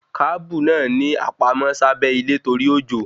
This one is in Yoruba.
Kábù náà ni a pamọ́ sábẹ́ ilé torí òjò